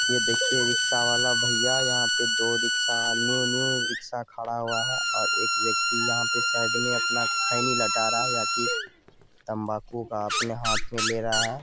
यह देखिए रिक्शा वाला भैया यहां पे दोरिक्शा न्यू न्यू रिक्शा खड़ा हुआ है। और एक व्यक्ति यहां पे साइड मे अपना खैनी लटा रहा है। यह की तम्बाकू का अपने हाथ मे ले रहा है।